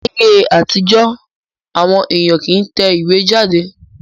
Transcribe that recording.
Láyé àtijọ́, àwọn èèyàn kì í tẹ ìwé jáde